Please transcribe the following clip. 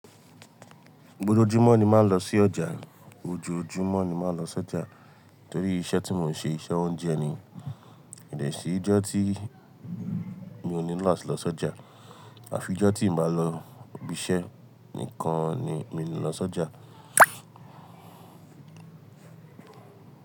Gbogbo ojúmọ́ ni máa ń lọ sí ọjà, ojoojúmọ́ ni máa ń lọ s'ọjà torí iṣẹ́ tí mò ń ṣe iṣẹ́ oúnjẹ ni. Kì í sì ìjọ́ tí mi ò ní lọ sí ọjà. Àfi ìjọ́ tí ì bá lọ ibi iṣẹ́ nìkan ni mi ò ní lọ s'ọjà.